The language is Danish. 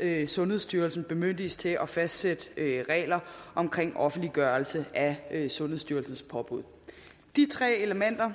at sundhedsstyrelsen bemyndiges til at fastsætte regler om offentliggørelse af sundhedsstyrelsens påbud de tre elementer